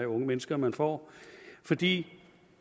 unge mennesker man får fordi